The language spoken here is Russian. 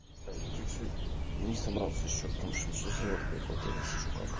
чуть-чуть не собрался ещё там сейчас живот прихватило как